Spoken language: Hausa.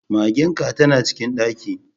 Magen ka tana cikin ɗaki.